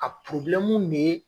A ne ye